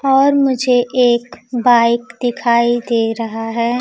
और मुझे एक बाइक दिखाई दे रहा है।